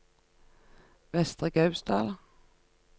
Vestre Gausdal